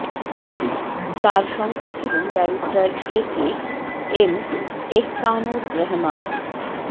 তার সঙ্গে ছিলেন barrister A K M Ehsanur Rahman